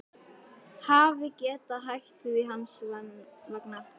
Hafi getað hætt því hans vegna.